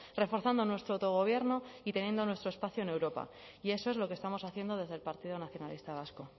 reforzando nuestro autogobierno y teniendo nuestro espacio en europa y eso es lo que estamos haciendo desde el partido nacionalista vasco